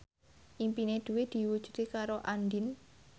impine Dwi diwujudke karo Andien